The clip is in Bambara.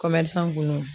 kun do